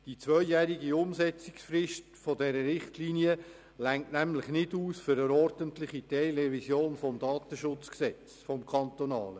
Die zweijährige Umsetzungsfrist dieser Richtlinie reicht für eine ordentliche Teilrevision des kantonalen Datenschutzgesetzes (KDSG) nicht aus.